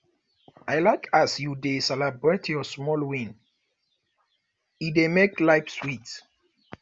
i like as you dey celebrate your small wins e dey make life sweet